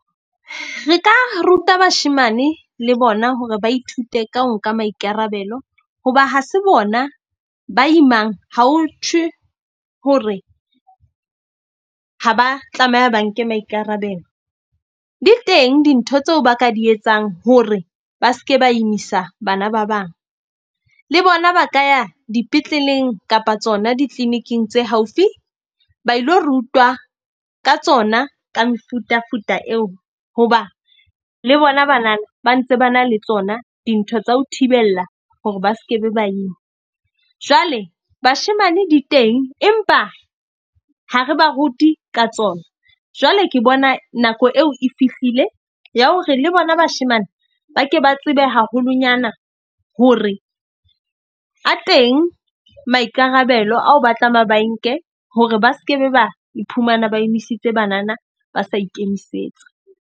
Re ka ruta bashemane le bona hore ba ithute ka ho nka maikarabelo hoba ha se bona ba imang. Ha ho thwe hore ha ba tlameha ba nke maikarabelo. Di teng dintho tseo ba ka di etsang hore ba ske ba imisa bana ba bang. Le bona ba ka ya dipetleleng kapa tsona di-clinic-ing tse haufi ba ilo rutwa ka tsona ka mefutafuta eo. Hoba le bona banana ba ntse ba na le tsona dintho tsa ho thibella hore ba skebe ba ima. Jwale bashemane di teng, empa ha re ba rute ka tsona, jwale ke bona nako eo e fihlile ya hore le bona bashemane ba ke ba tsebe haholonyana ho re a teng, maikarabelo ao batlameha ba nke hore ba skebe ba iphumana ba emisitse banana, ba sa ikemisetsa.